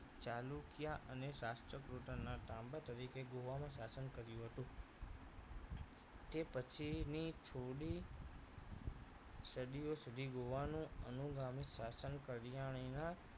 ચાલુક્ય અને રાષ્ટ્રકૃતોના તાંબા તરીકે ગોવામાં શાસન કર્યું હતું તે પછીની થોડી સદીઓ સુધી ગોવાનું અનુગામી શાસન કલ્યાણીના